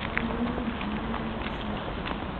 ta ũrĩa thimũ na indo ingĩ cia thitima.